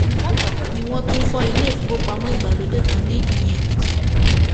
bákan náà ni wọn tún fọ ilé ìfowópamọ ìgbàlódé kan ní ìyìnèkìtì